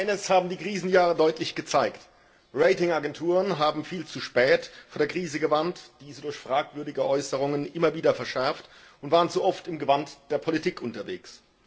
Eines haben die Krisenjahre deutlich gezeigt Ratingagenturen haben viel zu spät vor der Krise gewarnt, diese durch fragwürdige Äußerungen immer wieder verschärft und waren zu oft im Gewand der Politik unterwegs.